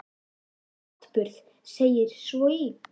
Um þann atburð segir svo í